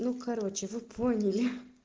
ну короче вы поняли ха